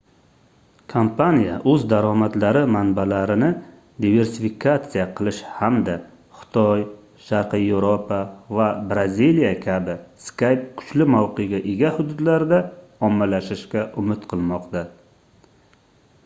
kompaniya oʻz daromadlari manbalarini diversifikatsiya qilish hamda xitoy sharqiy yevropa va braziliya kabi skype kuchli mavqega ega hududlarda ommalashishga umid qilmoqda